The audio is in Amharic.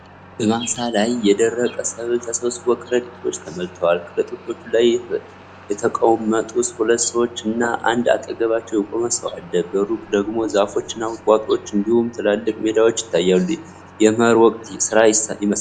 በማሳ ላይ የደረቀ ሰብል ተሰብስቦ ከረጢቶች ተሞልተዋል። ከረጢቶቹ ላይ የተቀመጡ ሁለት ሰዎች እና አንድ አጠገባቸው የቆመ ሰው አሉ። በሩቅ ደግሞ ዛፎች እና ቁጥቋጦዎች እንዲሁም ትላልቅ ሜዳዎች ይታያሉ። የመኸር ወቅት ሥራ ይመስላል።